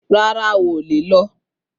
Rárá, o ò lè lọ